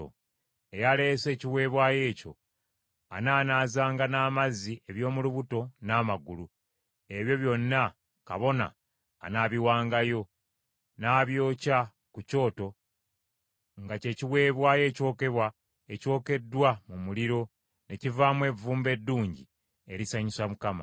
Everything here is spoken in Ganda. Eyaleese ekiweebwayo ekyo anaanaazanga n’amazzi eby’omu lubuto n’amagulu; ebyo byonna kabona anaabiwangayo, n’abyokya ku kyoto, nga kye kiweebwayo ekyokebwa ekyokeddwa mu muliro, ne kivaamu evvumbe eddungi erisanyusa Mukama .